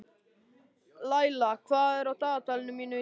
Laíla, hvað er á dagatalinu mínu í dag?